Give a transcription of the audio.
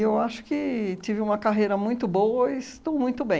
eu acho que tive uma carreira muito boa e estou muito bem.